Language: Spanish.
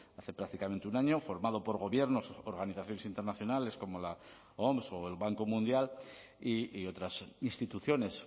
hace prácticamente un año formado por gobiernos organizaciones internacionales como la oms o el banco mundial y otras instituciones